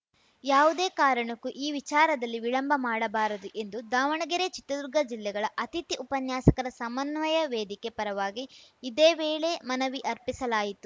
ಯಾವುದೇ ಕಾರಣಕ್ಕೂ ಈ ವಿಚಾರದಲ್ಲಿ ವಿಳಂಬ ಮಾಡಬಾರದು ಎಂದು ದಾವಣಗೆರೆ ಚಿತ್ರದುರ್ಗ ಜಿಲ್ಲೆಗಳ ಅತಿಥಿ ಉಪನ್ಯಾಸಕರ ಸಮನ್ವಯ ವೇದಿಕೆ ಪರವಾಗಿ ಇದೇ ವೇಳೆ ಮನವಿ ಅರ್ಪಿಸಲಾಯಿತು